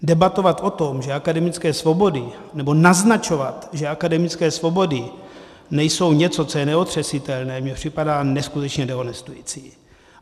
Debatovat o tom, že akademické svobody... nebo naznačovat, že akademické svobody nejsou něco, co je neotřesitelné, mně připadá neskutečně dehonestující.